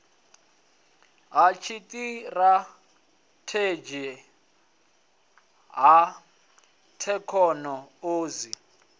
ha tshiṱirathedzhi ha thekhono odzhi